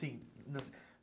Sim.